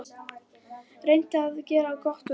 Reynt að gera gott úr öllu.